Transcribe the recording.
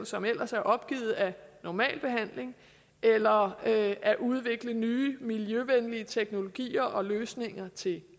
som ellers er opgivet af normal behandling eller at at udvikle nye miljøvenlige teknologier og løsninger til